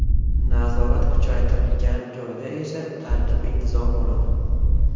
Nazorat kuchaytirilgan joyda esa tartib-intizom bo‘ladi.